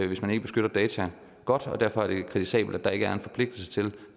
hvis man ikke beskytter data godt og derfor er det kritisabelt at der ikke er en forpligtelse til